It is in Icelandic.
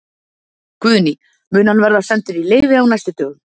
Guðný: Mun hann verða sendur í leyfi á næstu dögum?